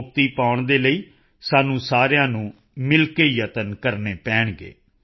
ਤੋਂ ਮੁਕਤੀ ਪਾਉਣ ਦੇ ਲਈ ਸਾਨੂੰ ਸਾਰਿਆਂ ਨੂੰ ਸਮੂਹਿਕ ਯਤਨ ਕਰਨਾ ਹੋਵੇਗਾ